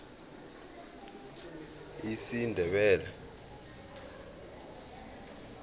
esindebele